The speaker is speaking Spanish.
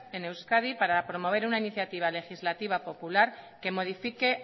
en euskadi para promover una iniciativa legislativa popular que modifique